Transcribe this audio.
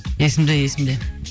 есімде есімде